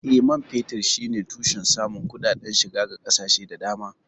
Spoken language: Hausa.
Eh, man fetur shine tushen samun kuɗaɗen shiga ga ƙasashe da dama.